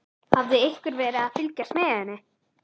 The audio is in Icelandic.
Hafði einhver verið að fylgjast með henni?